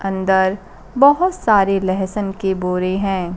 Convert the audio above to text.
अंदर बहोत सारे लहसन के बोरे हैं।